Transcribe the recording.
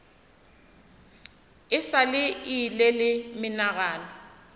a sa ile le menagano